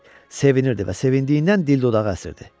Sevinirdi və sevindiyindən dil dodağı əsirdi.